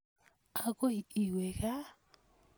Akoi iwe kaa?